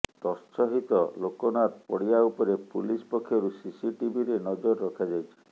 ତତ୍ସହିତ ଲୋକନାଥ ପଡ଼ିଆ ଉପରେ ପୁଲିସ ପକ୍ଷରୁ ସିସିଟିଭିରେ ନଜର ରଖାଯାଇଛି